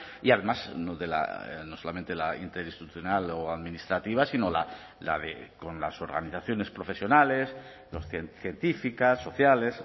y además no solamente la interinstitucional o administrativa sino con las organizaciones profesionales científicas sociales